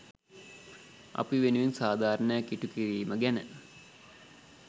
අපි වෙනුවෙන් සාධාරණයක් ඉටු කිරීම ගැන.